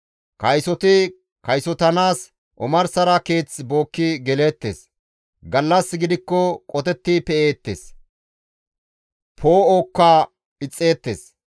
Kaysoti kaysotanaas omarsara keeth bookki geleettes; gallas gidikko qotetti pe7eettes. Poo7oka ixxeettes.